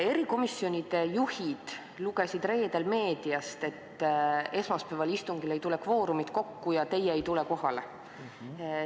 Erikomisjonide juhid lugesid reedel meediast, et esmaspäevasel istungil ei tule kvoorumit kokku ja teie ei tule kohale.